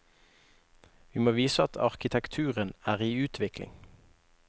Vi må vise at arkitekturen er i utvikling.